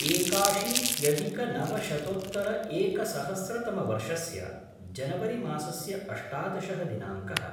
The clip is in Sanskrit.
एकाशीत्यधिकनवशतोत्तर एकसहस्रतमवर्षस्य जनवरि मासस्य अष्टादशः दिनाङ्कः